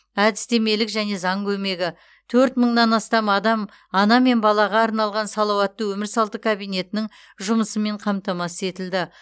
әдістемелік және заң көмегі төрт мыңнан астам адам ана мен балаға арналған салауатты өмір салты кабинетінің жұмысымен қамтамасыз етілді